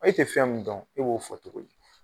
E tɛ fɛn min dɔn e b'o fɔ cogo di.